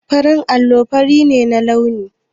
Farin allo fari ne a launi.